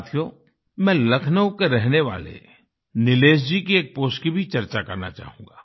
साथियो मैं लखनऊ के रहने वाले निलेश जी की एक पोस्ट की भी चर्चा करना चाहूँगा